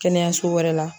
Kɛnɛyaso wɛrɛ la